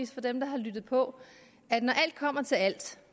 for dem der har lyttet på at når alt kommer til alt